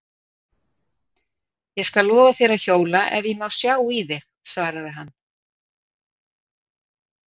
Ég skal lofa þér að hjóla ef ég má sjá í þig, svaraði hann.